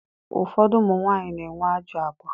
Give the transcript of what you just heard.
Ụfọdụ ụmụnwanyị na-enwe ajọ agwa.